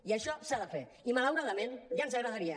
i això s’ha de fer i malauradament ja ens agradaria